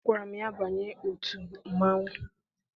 Agwara m ya, banye otu mmanwụ!